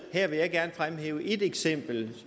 her vil jeg gerne fremhæve et eksempel